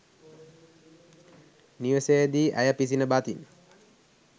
නිවසේ දී ඇය පිසින බතින්